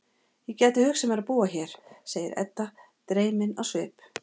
Ég gæti hugsað mér að búa hér, segir Edda dreymin á svip.